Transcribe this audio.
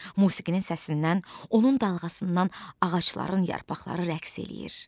Musiqinin səsindən, onun dalğasından ağacların yarpaqları rəqs eləyir.